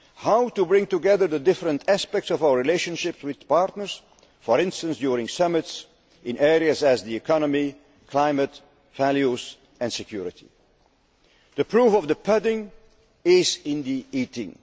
How can we bring together the different aspects of our relationship with partners for instance, during summits in areas such as the economy, climate, values and security? The proof of the pudding is in the eating.